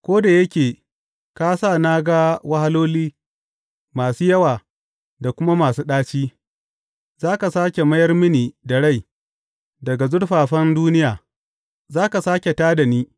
Ko da yake ka sa na ga wahaloli, masu yawa da kuma masu ɗaci, za ka sāke mayar mini da rai; daga zurfafan duniya za ka sāke tā da ni.